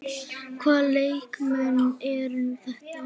Hvaða leikmenn eru þetta?